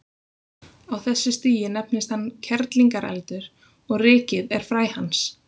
Á þessu stigi nefnist hann kerlingareldur og rykið er fræ hans.